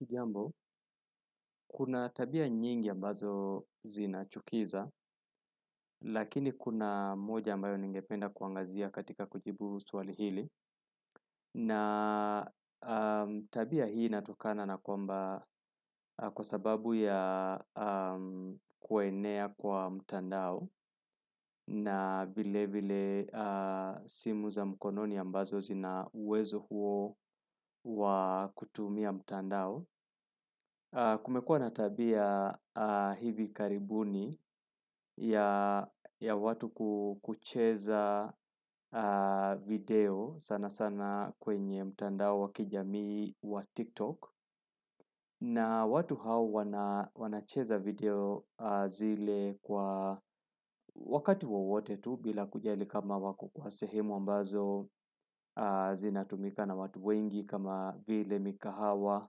Hujambo, kuna tabia nyingi ambazo zinachukiza, lakini kuna moja ambayo ningependa kuangazia katika kujibu swali hili. Na tabia hii inatokana na kwamba kwa sababu ya kuenea kwa mtandao na vile vile simu za mkononi ambazo zina uwezo huo wa kutumia mtandao. Kumekua na tabia hivi karibuni ya watu kucheza video sana sana kwenye mtandao wa kijamii wa tiktok na watu hao wanacheza video zile kwa wakati wowote tu bila kujali kama wako kwa sehemu ambazo zinatumika na watu wengi kama vile mikahawa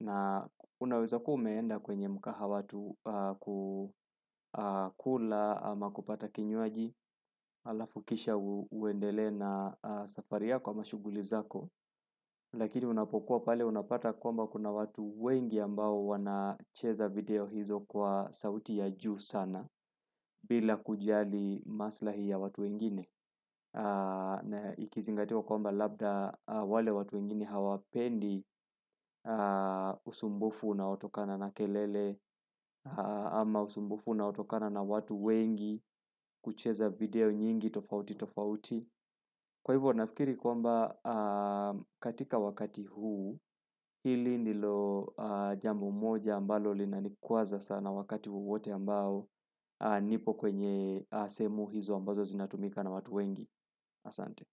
na unaweza kuwa umeenda kwenye mkahawa tu kukula ama kupata kinywaji halafu kisha uendelee na safari yako ama shughuli zako lakini unapokuwa pale unapata kwamba kuna watu wengi ambao wanacheza video hizo kwa sauti ya juu sana bila kujali maslahi ya watu wengine na ikizingatiwa kwamba labda wale watu wengine hawapendi usumbufu unaotokana na kelele ama usumbufu unaotokana na watu wengi kucheza video nyingi tofauti tofauti kwa hivyo nafikiri kwamba katika wakati huu hili ndilo jambo moja ambalo linanikwaza sana wakati wowote ambao nipo kwenye sehemu hizo ambazo zinatumika na watu wengi Asante.